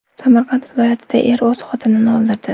Samarqand viloyatida er o‘z xotinini o‘ldirdi.